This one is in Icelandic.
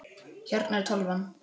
Hérna er tölvan.